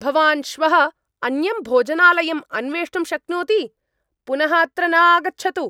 भवान् श्वः अन्यं भोजनालयम् अन्वेष्टुं शक्नोति। पुनः अत्र न आगच्छतु।